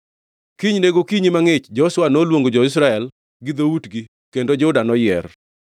Kinyne gokinyi mangʼich Joshua noluongo jo-Israel gi dhoutgi, kendo Juda noyier.